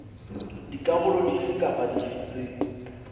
dikarolo dife kapa dife tse